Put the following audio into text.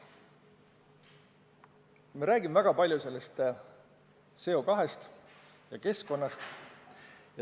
Me räägime väga palju CO2-st ja keskkonnast.